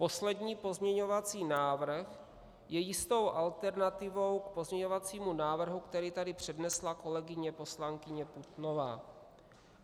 Poslední pozměňovací návrh je jistou alternativou k pozměňovacímu návrhu, který tady přednesla kolegyně poslankyně Putnová.